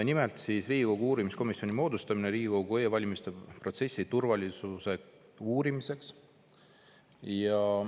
Nimelt, "Riigikogu uurimiskomisjoni moodustamine Riigikogu e-valimiste protsessi turvalisuse uurimiseks".